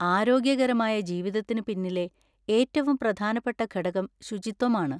ആരോഗ്യകരമായ ജീവിതത്തിന് പിന്നിലെ ഏറ്റവും പ്രധാനപ്പെട്ട ഘടകം ശുചിത്വമാണ്.